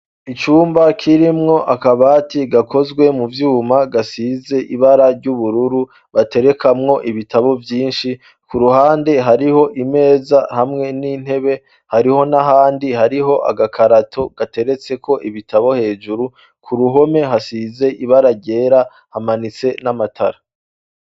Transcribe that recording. Icumba kirimwo akabati gakozwe mu vyuma, gasize ibara ry'ubururu, baterekamwo ibitabo vyinshi, k'uruhande hariho imeza hamwe n'intebe, hariho n'ahandi hariho agakarato gateretseko ibitabo hejuru, k'uruhome hasize ibara ryera, hamanitse n'amatara.